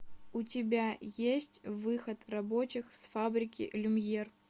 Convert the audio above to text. у тебя есть выход рабочих с фабрики люмьер